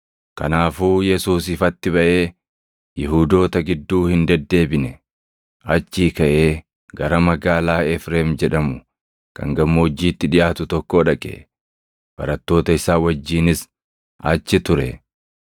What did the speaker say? Kanaafuu Yesuus ifatti baʼee Yihuudoota gidduu hin deddeebine. Achii kaʼee gara magaalaa Efreem jedhamu kan gammoojjiitti dhiʼaatu tokkoo dhaqe; barattoota isaa wajjinis achi ture.